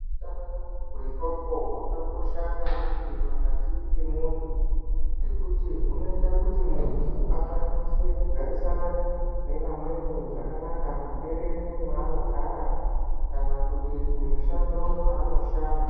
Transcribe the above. Utano hwendxondo hwakakosha maningi pakati pemuntu, ngekuti hunoita kuti muntu akwanise kugarisana nevamweni muberere mwaanogara kana kuti kumushando kwaanoshanda.